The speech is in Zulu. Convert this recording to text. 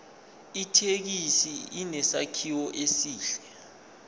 ithekisi inesakhiwo esihle